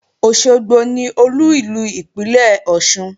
Òṣogbo ni Olú ìlú ìpínlè Ọ̀ṣun